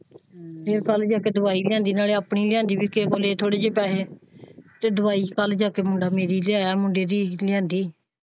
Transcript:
ਫੇਰ ਕੱਲ ਜਾ ਕੇ ਦਵਾਈ ਲਿਆਂਦੀ ਨਾਲੇ ਆਪਣੀ ਲਿਆਂਦੀ ਕੇਵਲ ਕੋਲ ਲਾਏ ਥੋੜੇ ਜਿਹਾ ਪੈਸੇ ਤੇ ਦਵਾਈ ਕੱਲ ਜਾ ਕੇ ਮੁੰਡਾ ਮੇਰੀ ਲਿਆਇਆ ਮੁੰਡੇ ਦੀ ਲਿਆਂਦੀ।